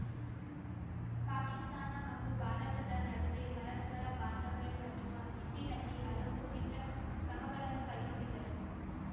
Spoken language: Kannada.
ಪಾಕಿಸ್ತಾನ ಹಾಗೂ ಭಾರತದ ನಡುವೆ ಪರಸ್ಪರ ಬಾಂಧವ್ಯ ಕಟ್ಟುವ ನಿಟ್ಟಿನಲ್ಲಿ ಹಲವು ದಿಟ್ಟಕ್ರಮಗಳನ್ನು ಕೈಗೊಂಡಿದ್ದರು